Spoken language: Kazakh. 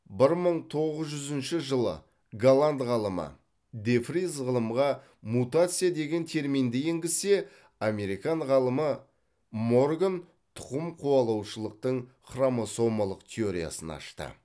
бір мың тоғыз жүзінші жылы голланд ғалымы де фриз ғылымға мутация деген терминді енгізсе американ ғалымы морган тұқым қуалаушылықтың хромосомалық теориясын ашты